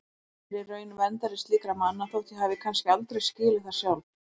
Ég er í raun verndari slíkra manna þótt ég hafi kannski aldrei skilið það sjálf.